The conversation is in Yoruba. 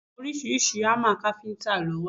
Àwọn oríṣiríṣi hámà káfíntà lo wà.